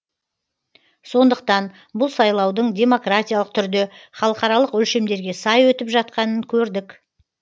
сондықтан бұл сайлаудың демократиялық түрде халықаралық өлшемдерге сай өтіп жатқанын көрдік